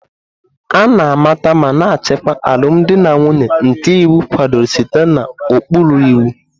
A na-amata ma na-achịkwa alụmdi na nwunye nke iwu kwadoro site n'ụkpụrụ iwu.